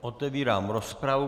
Otevírám rozpravu.